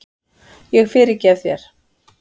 Ég fyrirgef þér.